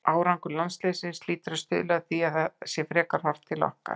Árangur landsliðsins hlýtur að stuðla að því að það sé frekar horft til okkar.